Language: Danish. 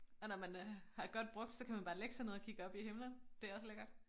Og når man øh har godt brugt så kan man bare lægge sig ned og kigge op i himmelen det er også lækkert